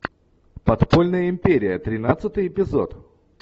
подпольная империя тринадцатый эпизод